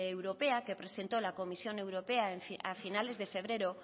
europea que presentó la comisión europea a finales de febrero